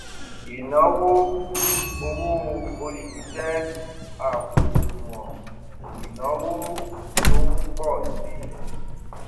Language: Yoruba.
ìnáwó owó oṣù jẹ àpò ìṣúná ìnáwó tó ń pọ si